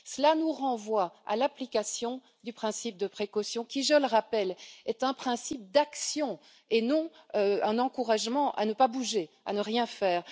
Cela nous renvoie à l'application du principe de précaution qui, je le rappelle, est un principe d'action et non un encouragement à ne pas bouger, à ne rien faire.